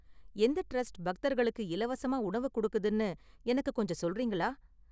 எந்த ட்ரஸ்ட் பக்தர்களுக்கு இலவசமா உணவு கொடுக்குதுனு எனக்கு கொஞ்சம் சொல்றீங்களா?